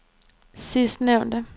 sidstnævnte